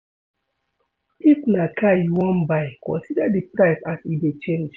If na car you wan buy consider di price as e dey change